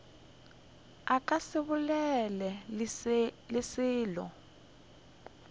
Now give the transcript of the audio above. ka se bolele le selo